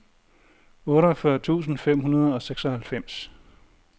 otteogfyrre tusind fem hundrede og seksoghalvfems